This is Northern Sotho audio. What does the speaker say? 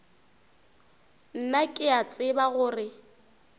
nna ke a tseba gore